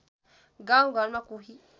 गाउँ घरमा कोही